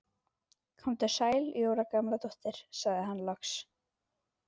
Komdu sæl Jóra Gamladóttir sagði hann loks.